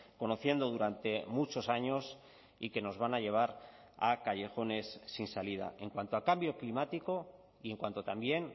conociendo durante muchos años y que nos van a llevar a callejones sin salida en cuanto a cambio climático y en cuanto también